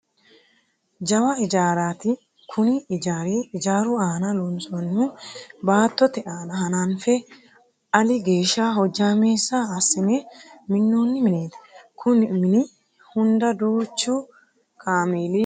Jawa ijaaraati kuni ijaari ijaaru aana loonsoonniho baattote aana hananfe ali geeshsha hojjaameessa assine minnoonni mineeti. Koni mini hunda duuchu kaameli afamanno.